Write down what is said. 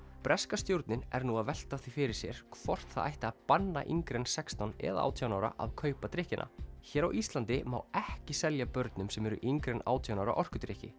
breska stjórnin er nú að velta því fyrir sér hvort það ætti að banna yngri en sextán eða átján ára að kaupa drykkina hér á Íslandi má ekki selja börnum sem eru yngri en átján ára orkudrykki